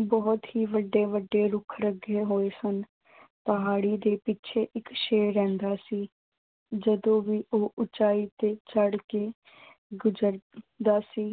ਬਹੁਤ ਹੀ ਵੱਡੇ-ਵੱਡੇ ਰੁੱਖ ਲੱਗੇ ਹੋਏ ਸਨ। ਪਹਾੜੀ ਦੇ ਪਿੱਛੇ ਇੱਕ ਸ਼ੇਰ ਰਹਿੰਦਾ ਸੀ। ਜਦੋਂ ਵੀ ਉਹ ਉਚਾਈ ਤੇ ਚੜ੍ਹ ਕੇ ਗਰਜਦਾ ਸੀ।